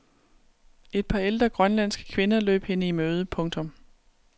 Et par ældre grønlandske kvinder løb hende i møde. punktum